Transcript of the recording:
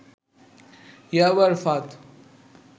ইয়াবার ফাঁদ